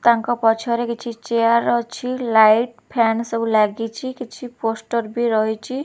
ତାଙ୍କ ପଛରେ କିଛି ଚେୟାର ଅଛି ଲାଇଟ ଫ୍ୟାନ ସବୁ ଲାଗିଛି କିଛି ପୋଷ୍ଟର ବି ରହିଛି ।